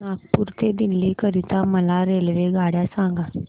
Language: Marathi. नागपुर ते दिल्ली करीता मला रेल्वेगाड्या सांगा